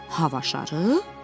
Hava şarı?